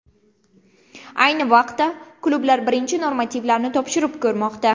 Ayni vaqtda klublar birinchi normativlarni topshirib ko‘rmoqda.